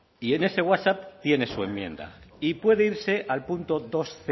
y en ese whatsapp tiene su enmienda y puede irse al punto dosc